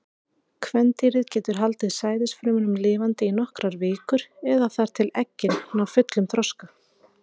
Kvendýrið getur haldið sæðisfrumunum lifandi í nokkrar vikur, eða þar til eggin ná fullum þroska.